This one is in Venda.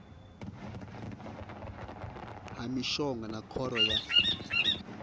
ha mishonga na khoro ya